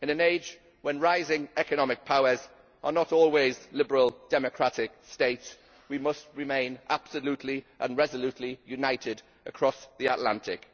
In an age when rising economic powers are not always liberal democratic states, we must remain absolutely and resolutely united across the Atlantic.